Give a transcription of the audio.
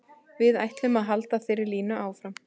Við ætlum að halda þeirri línu áfram.